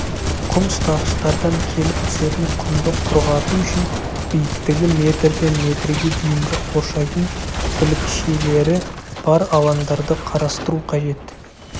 құм ұстағыштардан келіп түсетін құмды құрғату үшін биіктігі метрден метрге дейінгі қоршайтын білікшелері бар алаңдарды қарастыру қажет